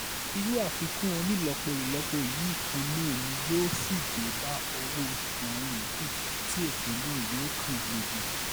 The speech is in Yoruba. irú àfikún onílòpọ̀-ìlòpọ̀ yìí kan náà ni yóò sì dé bá ọwọ́-oṣù àwọn yòókù tí ètò náà yóò kan gbogbo